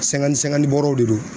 bɔɔrɔw de do.